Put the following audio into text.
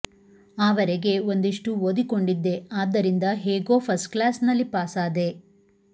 ಆ ವರೆಗೆ ಒಂದಿಷ್ಟು ಓದಿಕೊಂಡಿದ್ದೆ ಆದ್ದರಿಂದ ಹೇಗೋ ಫಸ್ಟ್ ಕ್ಲಾಸ್ ನಲ್ಲಿ ಪಾಸಾದೆ